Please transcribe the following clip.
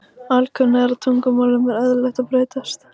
Alkunna er að tungumálum er eðlilegt að breytast.